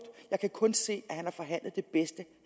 jeg kan kun se at han har forhandlet det bedste